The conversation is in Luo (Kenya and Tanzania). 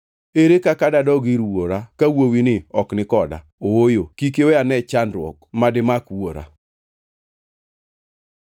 Ere kaka dadog ir wuora ka wuowini ok ni koda? Ooyo! Kik iwe ane chandruok ma dimak wuora.”